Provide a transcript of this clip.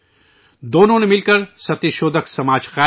دونوں ساتھ مل کر ستیہ شودھک سماج قائم کیا